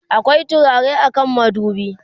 akwai turare a kan madubi?